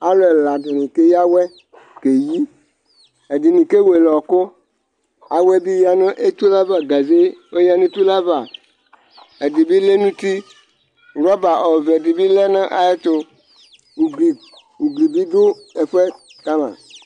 Aalʋɛlaɖi k'eyea awuɛ n'ayili, ɛɖini k'ewuele ɛkʋ Awuɛbi yea nʋ etʋle avaGaze' ɔyea ɔyea nʋ etʋle avaƐɖibi lɛ nʋ tiiRɔba ɔvɛ bi lɛ nʋ ayɛtʋUgblibi ɖʋ ɛfuɛ, kama